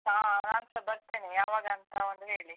ಹಾ ನಾನ್ಸ ಬರ್ತೇನೆ ಯಾವಾಗಂತ ಒಂದು ಹೇಳಿ.